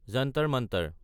Jantar Mantar